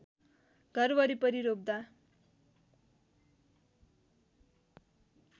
घर वरिपरि रोप्दा